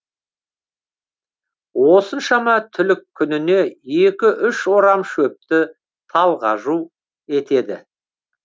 осыншама түлік күніне екі үш орам шөпті талғажу етеді